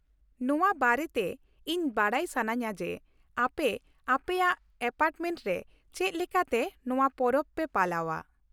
ᱱᱚᱶᱟ ᱵᱟᱨᱮᱛᱮ ᱤᱧ ᱵᱟᱰᱟᱭ ᱥᱟᱱᱟᱧᱼᱟ ᱡᱮ, ᱟᱯᱮ ᱟᱯᱮᱭᱟᱜ ᱮᱯᱟᱨᱴᱢᱮᱱᱴ ᱨᱮ ᱪᱮᱫ ᱞᱮᱠᱟᱛᱮ ᱱᱚᱶᱟ ᱯᱚᱨᱚᱵ ᱯᱮ ᱯᱟᱞᱟᱣᱼᱟ ᱾